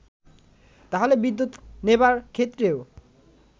তাহলে বিদ্যুৎ নেবার ক্ষেত্রেও